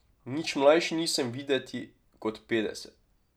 Nič mlajši nisem videti kot petdeset.